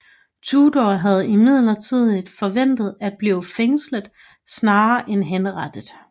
Tudor havde imidlertid forventet at blive fængslet snarere end henrettet